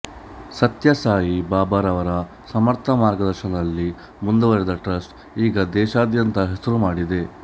ಸತ್ಯ ಸಾಯಿ ಬಾಬಾರವರ ಸಮರ್ಥ ಮಾರ್ಗದರ್ಶನದಲ್ಲಿ ಮುಂದುವರೆದ ಟ್ರಸ್ಟ್ ಈಗ ದೇಶದಾದ್ಯಂತ ಹೆಸರು ಮಾಡಿದೆ